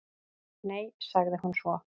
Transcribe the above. """Nei, sagði hún svo."""